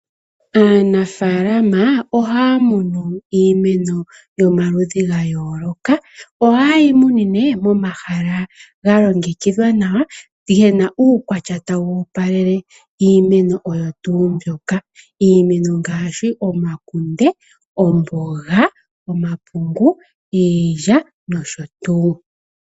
Aanafalama ohaya munu iimeno yomaludhi gayooloka. Ohayi munine momahala ga longekidhwa nawa gena uukwatya tawu taga opaleke iimeno oyo tuu mbyoka iimeno ngaashi omakunde, omapungu, iilya, omboga nosho tuu.